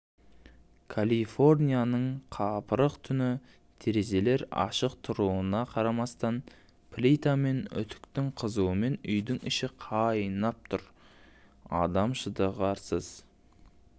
калифорнияның қапырық түні терезелер ашық тұруына қарамастан плита мен үтіктің қызуымен үйдің іші қайнап тұр адам шыдағысыз